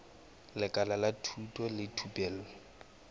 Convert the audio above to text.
lekala la thuto le thupelo